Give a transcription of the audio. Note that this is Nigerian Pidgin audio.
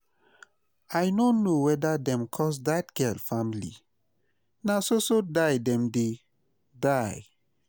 I no know whether dem curse dat girl family, na so so die dem dey die